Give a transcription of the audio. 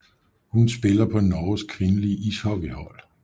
Hun spiller på Norges kvindelige ishockeyhold